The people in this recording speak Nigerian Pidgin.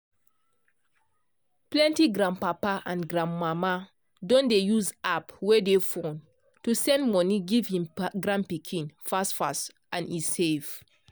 plenty grandpapa and grandmama don dey use app wey dey phone to send money give him grand pikin fast fast and he safe